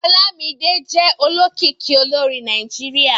Olámídé jẹ́ olókìkí olórin Nàìjíríà